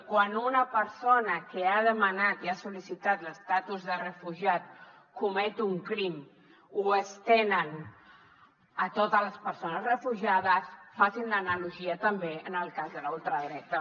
quan una persona que ha demanat i ha sol·licitat l’estatus de refugiat comet un crim ho estenen a totes les persones refugiades facin l’analogia també en el cas de la ultradreta